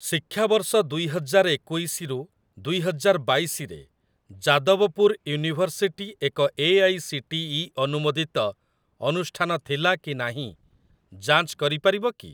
ଶିକ୍ଷାବର୍ଷ ଦୁଇ ହଜାର ଏକୋଇଶି ରୁ ଦୁଇ ହଜାର ବାଇଶି ରେ ଯାଦବପୁର ୟୁନିଭର୍ସିଟି ଏକ ଏଆଇସିଟିଇ ଅନୁମୋଦିତ ଅନୁଷ୍ଠାନ ଥିଲା କି ନାହିଁ ଯାଞ୍ଚ କରିପାରିବ କି?